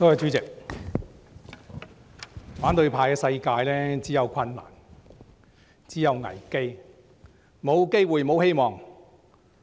主席，反對派的世界只有困難和危機，沒有機會和希望。